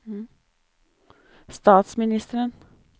statsministeren